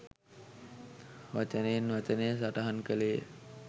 වචනයෙන් වචනය සටහන් කළේය